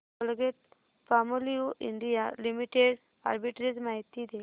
Colgate Palmolive India limited arbitrage माहिती दे